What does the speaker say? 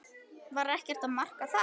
Var ekkert að marka það?